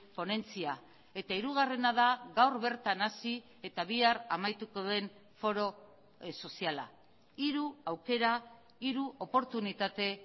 ponentzia eta hirugarrena da gaur bertan hasi eta bihar amaituko den foro soziala hiru aukera hiru oportunitate